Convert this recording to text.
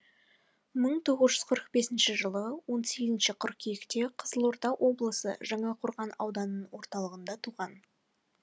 мың тоғыз жүз қырық бесінші жылы он сегізінші қыркүйекте қызылорда облысы жаңақорған ауданының орталығында туған